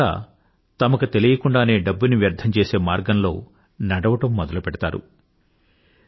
మన యువత తమకి తెలియకుండానే డబ్బుని వ్యర్థం చేసే మార్గంలో నడవడం మొదలుపెడతారు